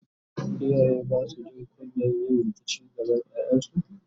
iyaye Basu Jin kunyan yin rikici gaban ƴaƴansu?